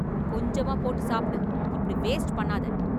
கொஞ்சமா போட்டு சாப்பிடு, இப்படி வேஸ்ட் பண்ணாத.